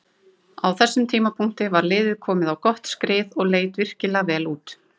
Á þessum tímapunkti var liðið komið á gott skrið og leit virkilega vel út.